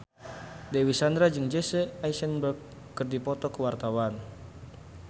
Dewi Sandra jeung Jesse Eisenberg keur dipoto ku wartawan